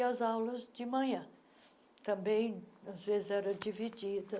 E as aulas de manhã também às vezes era dividida,